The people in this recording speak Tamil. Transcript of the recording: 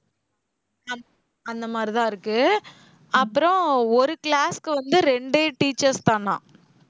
அந்த மாதிரிதான் இருக்கு. அப்புறம் ஒரு class க்கு வந்து ரெண்டு teachers தானாம்.